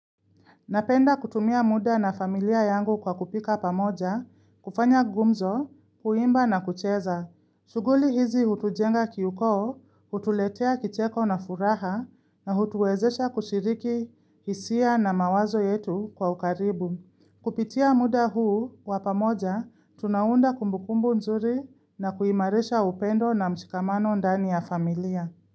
Napenda kutumia muda na familia yangu kwa kupika pamoja, kufanya gumzo, kuimba na kucheza. Shuguli hizi hutujenga kiukoo, hutuletea kicheko na furaha na hutuezesha kushiriki hisia na mawazo yetu kwa ukaribu. Kupitia muda huu kwa pamoja, tunaunda kumbukumbu nzuri na kuimarisha upendo na mshikamano ndani ya familia.